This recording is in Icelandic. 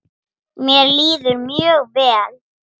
Mér líður mjög vel.